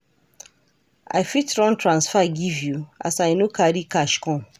I fit run transfer give you as I no carry cash come?